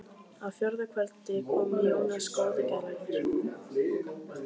Á fjórða kvöldi kom Jónas góði geðlæknir.